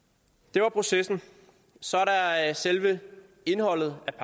var processen så er der selve indholdet af